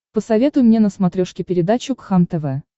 посоветуй мне на смотрешке передачу кхлм тв